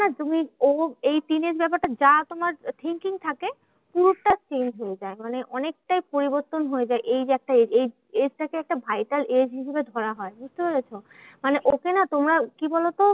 না তুমি ও এই teenage ব্যাপারটা যা তোমার thinking থাকে, পুরোটা change হয়ে যায়। মানে অনেকটাই পরিবর্তন হয়ে যায় এই যে একটা age এই age টা কে একটা vital age হিসেবে ধরা হয়, বুঝতে পেরেছ? মানে ওকে না তোমরা কি বলতো?